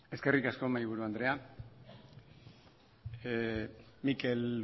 eskerrik asko mahaiburu andrea mikel